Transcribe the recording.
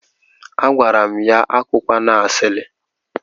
Agwara m ya, ya akụkwana asili.